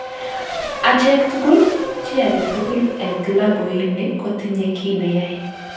Acheek tugul, chi age tugul en'g klabuini kotinye ki ne yae